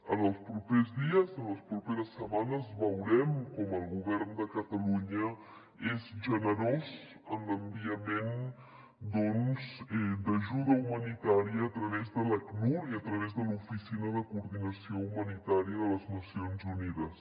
en els propers dies en les properes setmanes veurem com el govern de catalunya és generós en l’enviament d’ajuda humanitària a través de l’acnur i a través de l’oficina de coordinació humanitària de les nacions unides